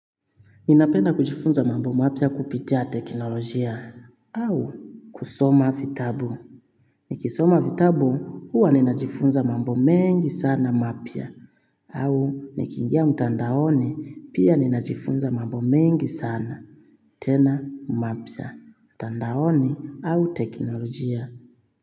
Ninapenda kujifunza mambo mapya kupitia teknolojia au kusoma vitabu. Nikisoma vitabu huwa ninajifunza mambo mengi sana mapya au nikiingia mtandaoni pia ninajifunza mambo mengi sana tena mapya mtandaoni au teknolojia.